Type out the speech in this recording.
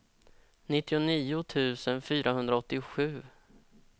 nittionio tusen fyrahundraåttiosju